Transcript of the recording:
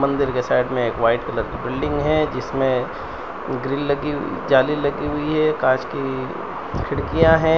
मंदिर के साइड में एक वाइट कलर की बिल्डिंग है जिसमें ग्रील लगी जाली लगी हुई है कांच की खिड़कियां हैं।